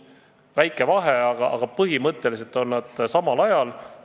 Väike vahe, aga põhimõtteliselt on nad samal ajal.